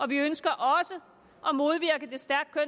vi ønsker også